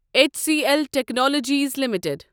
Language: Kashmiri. H C L technologies limited